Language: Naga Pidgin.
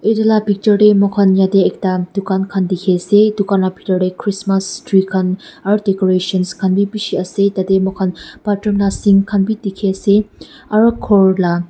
itu la picture teh mokhan yedey ekta dukan khan dikhi ase dukan la bhitor tey christmas tree khan aru decorations khan bi bishi ase tadey mokhan bathroom la sink khan bi dikhi ase aro ghor la--